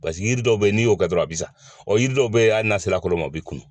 Pasiki yiri dɔw bɛ n'i y'o kɛ dɔrɔn a bi sa, yiri dɔw bɛ yen hali n'a sera kolo ma o bi kunu.